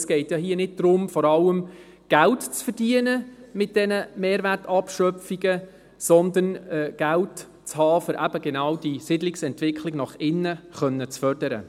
Es geht ja nicht darum, mit dieser Mehrwertabschöpfung vor allem Geld zu verdienen, sondern Geld zu haben, um die Siedlungsentwicklung nach innen fördern zu können.